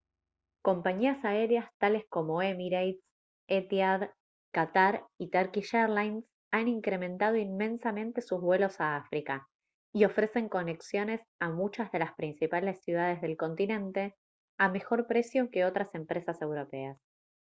compañías aéreas tales como emirates etihad qatar y turkish airlines han incrementado inmensamente sus vuelos a áfrica y ofrecen conexiones a muchas de las principales ciudades del continente a mejor precio que otras empresas europeas